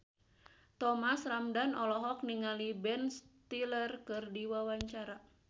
Thomas Ramdhan olohok ningali Ben Stiller keur diwawancara